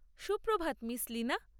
Suprabhat, miss Leena!